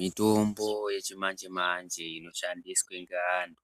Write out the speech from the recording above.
Mitombo yechimanje-manje inoshandiswe ngeantu